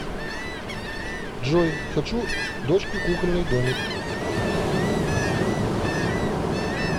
джой хочу дочке кукольный домик